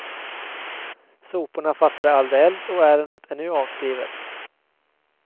Soporna fattade aldrig eld och ärendet är nu avskrivet.